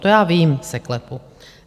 To já vím z eKLEPu.